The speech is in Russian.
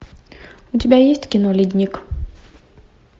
у тебя есть кино ледник